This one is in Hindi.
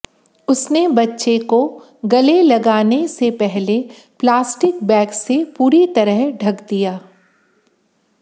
उसने बच्चे को गले लगाने से पहले प्लास्टिक बैग से पूरी तरह ढंक दिया